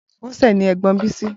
Bose ni ègbòn Bisi